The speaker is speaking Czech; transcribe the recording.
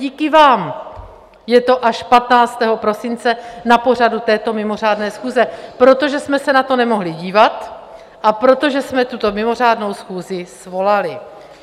Díky vám je to až 15. prosince na pořadu této mimořádné schůze, protože jsme se na to nemohli dívat a protože jsme tuto mimořádnou schůzi svolali.